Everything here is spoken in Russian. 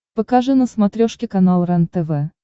покажи на смотрешке канал рентв